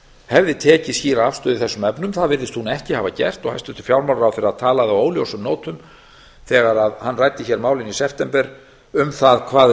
hefði tekið skýra afstöðu í þessum efnum það virðist hún ekki hafa gert hæstvirtur fjármálaráðherra talaði á óljósum nótum þegar hann ræddi hér málin í september um það hvað